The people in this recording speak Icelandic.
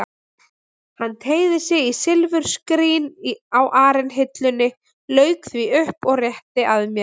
Hann teygði sig í silfurskrín á arinhillunni, lauk því upp og rétti að mér.